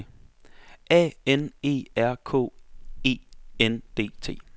A N E R K E N D T